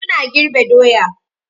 suna girbe doya.